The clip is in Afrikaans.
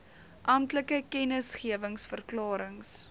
amptelike kennisgewings verklarings